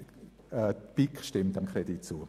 Fazit: Die BiK stimmt dem Kredit zu.